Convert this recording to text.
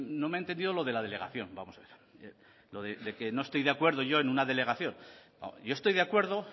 no me ha entendido lo de la delegación vamos a ver lo de que no estoy de acuerdo yo en una delegación yo estoy de acuerdo